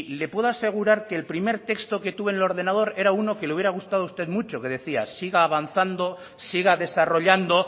le puedo asegurar que el primer texto que tuve en el ordenador era uno que le hubiera gustado a usted mucho que decía siga avanzando siga desarrollando